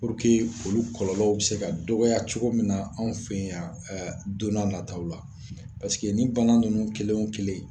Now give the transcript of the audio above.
olu kɔlɔlɔw bi se ka dɔgɔya cogo min na anw fɛ yan don n'a nataw la nin bana ninnu kelen o kelen